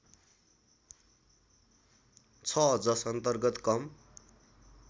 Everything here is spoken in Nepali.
छ जसअन्तर्गत कम